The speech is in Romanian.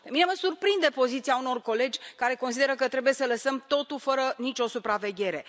Pe mine mă surprinde poziția unor colegi care consideră că trebuie să lăsăm totul fără nicio supraveghere.